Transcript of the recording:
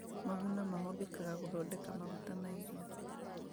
Maguna mahũthĩkaga gũthondeka maguta ma irio